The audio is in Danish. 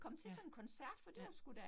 Ja, ja